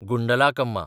Gundlakamma